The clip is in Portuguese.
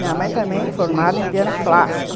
Minha mãe também formada em piano clássico.